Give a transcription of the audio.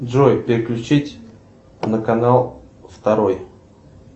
джой переключить на канал второй